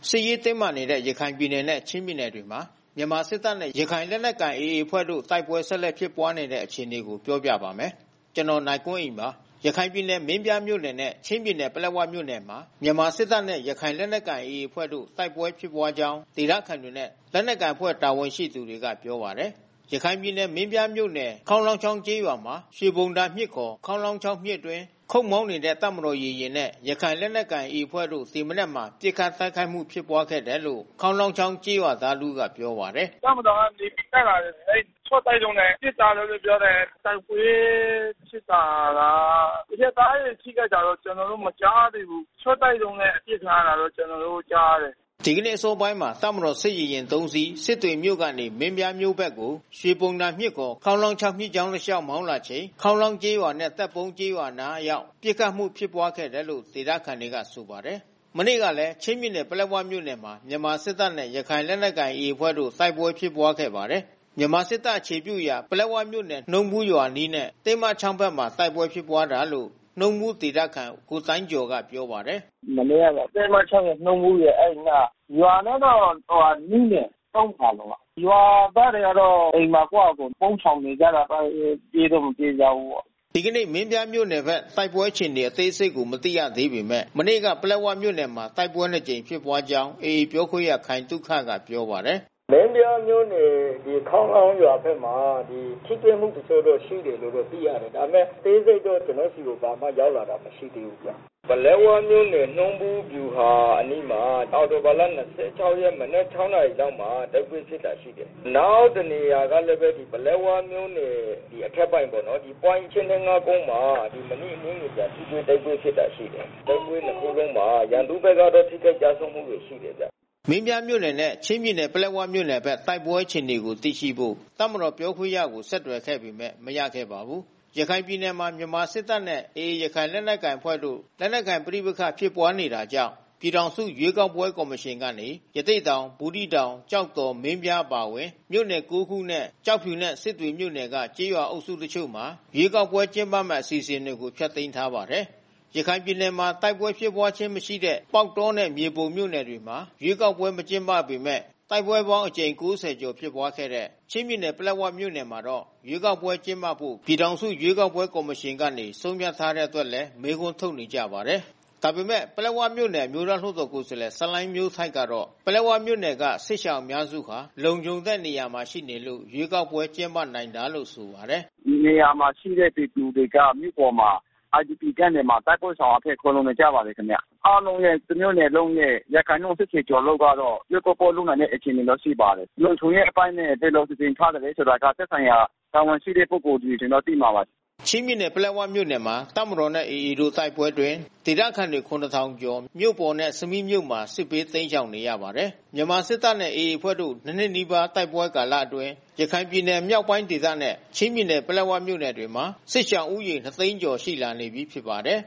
စ်ရေးတင်းမာနေတဲ့ ရခိုင်ပြည်နယ်နဲ့ ချင်းပြည်နယ်တွေမှာ မြန်မာစစ်တပ်နဲ့ ရခိုင်လက်နက်ကိုင် AA အဖွဲ့တို့ တိုက်ပွဲ ဆက်လက်ဖြစ်ပွါးနေတဲ့ အခြေအနေကို ပြောပြပါမယ်။ ဗွီအိုအေမြန်မာပိုင်း သတင်းထောက် ကိုနိုင်ကွန်းအိန်က သတင်းပေးပို့ထားပါတယ်။ ရခိုင်ပြည်နယ် မင်းပြားမြို့နယ်နဲ့ချင်းပြည်နယ်ပလက်ဝမြို့နယ်မှာ မြန်မာစစ်တပ်နဲ့ ရခိုင်လက်နက်ကိုင် AA အဖွဲ့တို့ တိုက်ပွဲဖြစ်ပွါးကြောင်းဒေသခံတွေနဲ့ လက်နက်ကိုင်အဖွဲ့ တာဝန်ရှိသူတွေကပြောပါတယ်။ ရခိုင်ပြည်နယ်မင်းပြားမြို့နယ် ခေါင်းလောင်းချောင်းကျေးရွာမှာ ရွှေဘုံသာမြစ် ခေါင်းလောင်းချောင်း မြစ်အတွင်း ခုတ်မောင်းနေတဲ့ တပ်မတော်ရေယာဉ်နဲ့ ရခိုင်လက်နက်ကိုင် AA အဖွဲ့တို့ ဒီမနက်မှာ ပစ်ခတ်တိုက်ခိုက်မှု ဖြစ်ပွါးခဲ့တယ်လို့ ခေါင်းလောင်းချောင်းကျေးရွာသား တဦးကပြောပါတယ်။ “တပ်မတော်ကနေပြီး တက်လာတယ်။ အဲဒီရှော့တိုက်ဒုံးနဲ့ ပစ်တာလို့ပြောတယ်။ တိုက်ပွဲဖြစ်တာကအရပ်သားတွေ ထိခိုက်တာက ကျနော်တို့ မကြားသေးဘူး။ ရှော့တိုက်ဒုံးနဲ့ ပစ်တာလို့ ကျနော်တို့ ကြားရတယ်။” ဒီနေ့အစောပိုင်းမှာ တပ်မတော်စစ်ရေယာဉ် ၃ စီး၊ စစ်တွေမြို့ကနေ မင်းပြားမြို့ဘက်ကို ရွှေဘုံသာမြစ် မြစ်ကြောင်းတလျှောက် မောင်းလာချိန် ခေါင်းလောင်းကျေးရွာနဲ့ သက်ပုန်းကျေးရွာအနား အရောက် ပစ်ခတ်မှု ဖြစ်ပွားခဲ့တယ်လို့ ဒေသခံတွေကဆိုပါတယ်။ မနေ့ကလည်း ချင်းပြည်နယ်ပလက်ဝမြို့နယ်မှာ မြန်မာစစ်တပ်နဲ့ ရခိုင်လက်နက်ကိုင် AA အဖွဲ့တို့ တိုက်ပွဲဖြစ်ပွါးခဲ့ပါတယ်။ မြန်မာစစ်တပ် အခြေပြုရာပလက်ဝမြို့နယ် နှုံးဘူးရွာအနီးနဲ့ တင်းမချောင်းဖက် တိုက်ပွဲဖြစ်ပွါးတာလို့ နှုံးဘူး ဒေသခံ ကိုတိုင်းကျော်ကပြောပါတယ်။ “မနေ့က တင်းမချောင်းရယ်၊ နှုံးဘူးရယ်အဲဒီအနား။ ရွာနဲ့တော့ နီးတယ်။ ၃ ဖာလုံလောက်။ ရွာသားတွေကတော့ အိမ်မှာကိုယ့်ဟာကိုယ် ပုန်းရှောင်နေကြတာပေါ့။ ပြေးတော့မပြေးကြဘူးပေါ့။” ဒီကနေ့ မင်းပြားမြို့နယ်ဘက်တိုက်ပွဲ အခြေအနေ အသေးစိတ်ကို မသိရသေးပေမဲ့ မနေ့က ပလက်ဝမြို့နယ်မှာ တိုက်ပွဲ နှစ်ကြိမ်ဖြစ်ပွါးကြောင်း AA ပြောခွင့်ရခိုင်သုခကပြောပါတယ်။ “မင်းပြားမြို့နယ်ခေါင်းလောင်းရွာဘက်မှာ ထိတွေ့မှု တချို့တော့ ရှိတယ်လို့တော့ သိရတယ်။ ဒါပေမဲ့အသေးစိတ်တော့ ဘာမှ ကျနော်ဆီကို ရောက်လာတာ မရှိသေးဘူး။ ပလက်ဝမြို့နယ် နှုံးဘူးဗျူဟာအနီးမှာ အောက်တိုဘာလ ၂၆ ရက် မနက် ၆ နာရီလောက်မှာ တိုက်ပွဲဖြစ်တာ ရှိတယ်။ နောက်တနေရာကလည်းပဲ ပလက်ဝမြို့နယ်အထက်ပိုင်းပေါ့နော်။ ပွိုင့် ၈၂၅ ကုန်းမှာ မိနစ်အနည်းငယ်ကြာ ထိတွေ့တိုက်ပွဲဖြစ်တာ ရှိတယ်။ တိုက်ပွဲနှစ်ခုလုံးမှာ ရန်သူဘက်က ထိခိုက်ကျဆုံးမှုတော့ ရှိတယ်ဗျ။” မင်းပြားမြို့နယ်နဲ့ ချင်းပြည်နယ်ပလက်ဝမြို့နယ်ဘက် တိုက်ပွဲအခြေအနေကို သိရှိဖို့ တပ်မတော်ပြောခွင့်ရကို ဆက်သွယ်ခဲ့ပေမဲ့ မရခဲ့ပါဘူး။ ရခိုင်ပြည်နယ်မှာ မြန်မာစစ်တပ်နဲ့ AA ရခိုင်လက်နက်ကိုင်အဖွဲ့တို့ လက်နက်ကိုင်ပဋိပက္ခဖြစ်ပွါးနေတာကြောင့် ပြည်ထောင်စု ရွေးကောက်ပွဲကော်မရှင်ကနေ ရသေ့တောင်၊ ဘူးသီးတောင်၊ ကျောက်တော်၊ မင်းပြားအပါအဝင် မြိုု့နယ် ၉ ခုနဲ့ ကျောက်ဖြူနဲ့ စစ်တွေမြို့နယ်က ကျေးရွာအုပ်စုတချို့မှာ ရွေးကောက်ပွဲ ကျင်းပမယ့် အစီအစဉ်တွေကို ဖျက်သိမ်းထားပါတယ်။ ရခိုင်ပြည်နယ်မှာ တိုက်ပွဲဖြစ်ပွားခြင်း မရှိတဲ့ ပေါက်တောနဲ့ မြေပုံမြို့နယ်တွေမှာ ရွေးကောက်ပွဲ မကျင်းပပေမဲ့ တိုက်ပွဲပေါင်းအကြိမ် ၉၀ ကျော်ဖြစ်ပွားခဲ့တဲ့ ချင်းပြည်နယ် ပလက်ဝမြို့နယ်မှာတော့ ရွေးကောက်ပွဲကျင်းပဖို့ ပြည်ထောင်စု ရွေးကောက်ပွဲကော်မရှင်က ဆုံးဖြတ်ထားတဲ့ အတွက်လည်း မေးခွန်းထုတ်နေကြပါတယ်။ ဒါပေမဲ့ ပလက်ဝမြို့နယ် အမျိုးသားလွှတ်တော်ကိုယ်စားလှယ် ဆလိုင်းမျိုးထိုက်ကတော့ ပလက်ဝမြို့နယ်က စစ်ရှောင် အများစုဟာ လုံခြုံတဲ့နေရာမှာရှိနေလို့ ရွေးကောက်ပွဲကျင်းပနိုင်တာလို့ ဆိုပါတယ်။ “ဒီနေရာမှာရှိတဲ့ပြည်သူတွေက မြို့ပေါ်မှာ IDP Camp တွေမှာ တိုက်ပွဲရှောင်အဖြစ်ခိုလှုံနေကြပါတယ်ခင်ဗျ။ အားလုံးရဲ့ တမြို့နယ်လုံးရဲ့ ရာခိုင်နှုန်း ၈၀ ကျော်လောက်ကတော့ ရွေးကောက်ပွဲ လုပ်နိုင်တဲ့ အခြေအနေရှိပါတယ်။ လုံခြုံရေးအပိုင်းနဲ့ ဘယ်လိုစီစဉ်ထားသလဲဆိုတာက သက်ဆိုင်ရာတာဝန်ရှိတဲ့ ပုဂ္ဂိုလ်တွေတော့ သိမှာပါ။” ချင်းပြည်နယ် ပလက်ဝမြို့နယ်မှာ တပ်မတော်နဲ့ AA တို့ တိုက်ပွဲအတွင်း ဒေသခံတွေ ၇,၀၀၀ ကျော် မြို့ပေါ်နဲ့ ဆမီးမြို့မှာ စစ်ဘေးတိမ်းရှောင်နေရပါတယ်။ မြန်မာစစ်တပ်နဲ့ AA အဖွဲ့တို့ ၂ နှစ်နီးပါးတိုက်ပွဲကာလအတွင်း ရခိုင်ပြည်နယ်မြောက်ပိုင်းဒေသနဲ့ ချင်းပြည်နယ် ပလက်ဝမြို့နယ်တွေမှာ စစ်ရှောင်ဦးရေ ၂၀၀,၀၀၀ ကျော်ရှိလာနေပြီးဖြစ်ပါတယ်